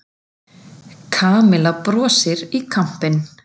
Kamilla brosti í kampinn.